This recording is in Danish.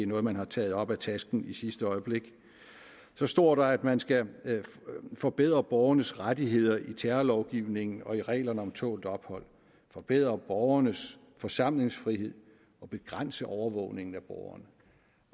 noget man har taget op af tasken i sidste øjeblik så står der at man skal forbedre borgernes rettigheder i terrorlovgivningen og i reglerne om tålt ophold forbedre borgernes forsamlingsfrihed og begrænse overvågningen af borgerne